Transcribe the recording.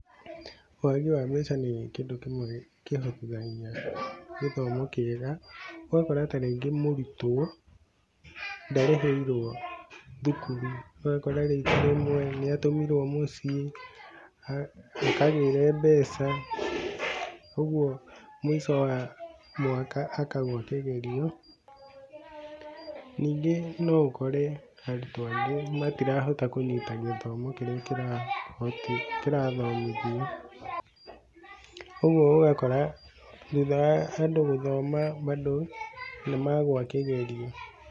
Wagi wa mbeca nĩ kĩndũ kĩmwe kĩhobithagia gĩthomo kĩega ũgakorwo ta rĩngĩ mũrutwo ndarĩhĩirwo thukuru, ũgakora rĩngĩ rĩmwe nĩ atũmirwo mũciĩ akagĩre mbeca ũguo mũico wa mwaka akagũa kĩgerio, ningĩ no ũkũre arutwo angĩ matirahota kũnyita gĩthomo kĩrĩa kĩrathomithio ũguo ũgakora thutha wa andũ gũthoma bado nĩ magũa kĩgerio.